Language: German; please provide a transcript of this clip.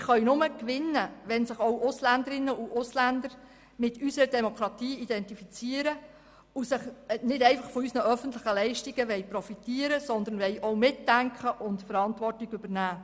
Wir können nur gewinnen, wenn sich auch Ausländerinnen und Ausländer mit unserer Demokratie identifizieren und nicht einfach nur von unseren öffentlichen Leistungen profitieren, sondern auch mitdenken und Verantwortung übernehmen.